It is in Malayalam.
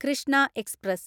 കൃഷ്ണ എക്സ്പ്രസ്